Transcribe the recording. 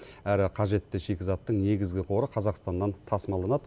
әрі қажетті шикізаттың негізгі қоры қазақстаннан тасымалданады